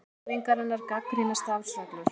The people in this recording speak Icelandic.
Þingmenn Hreyfingarinnar gagnrýna starfsreglur